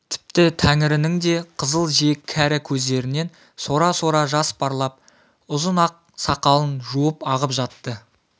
тіпті тәңірінің де қызыл жиек кәрі көздерінен сора-сора жас парлап ұзын ақ сақалын жуып ағып жатты